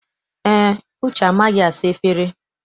Eé, Uche amaghị asa efere.